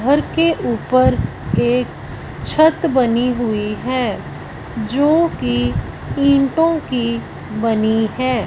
घर के ऊपर एक छत बनी हुई है जो कि ईंटों की बनी है।